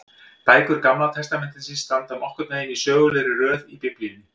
Bækur Gamla testamentisins standa nokkurn veginn í sögulegri röð í Biblíunni.